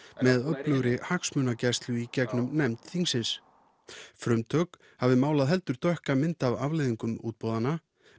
með öflugri hagsmunagæslu í gegnum nefnd þingsins frumtök hafi málað heldur dökka mynd af afleiðingum útboða